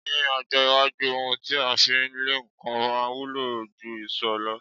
Ní ọjọ́ iwájú, ohun ti a fí ń lẹ nǹkan máa wúlò jú ìṣó lọ.